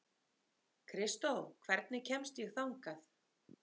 Kristó, hvernig kemst ég þangað?